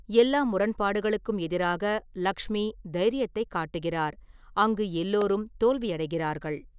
எல்லா முரண்பாடுகளுக்கும் எதிராக, லக்ஷ்மி தைரியத்தைக் காட்டுகிறார், அங்கு எல்லோரும் தோல்வியடைகிறார்கள்.